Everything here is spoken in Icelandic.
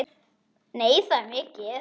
Nei, það er ekki mikið.